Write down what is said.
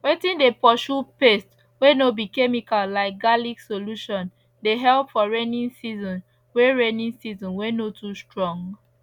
wetin dey purshu pest wey no be chemical like garlic solution dey help for raining season wey raining season wey no too strong